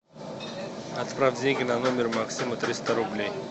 отправь деньги на номер максима триста рублей